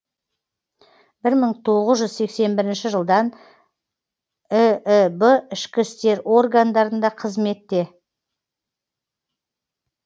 бір мың тоғыз жэүз сексен біріші жылдан ііб ішкі істер органдарында қызметте